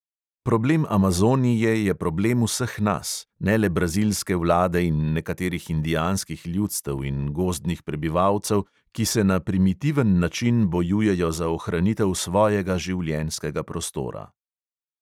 Problem amazonije je problem vseh nas, ne le brazilske vlade in nekaterih indijanskih ljudstev in gozdnih prebivalcev, ki se na primitiven način bojujejo za ohranitev svojega življenjskega prostora.